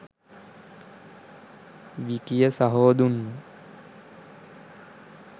විකිය සහෝ දුන්න